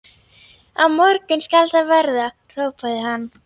Á morgun skal það verða, hrópaði hann.